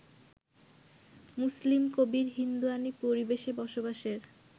মুসলিম কবির ‘হিন্দুয়ানি পরিবেশে’ বসবাসের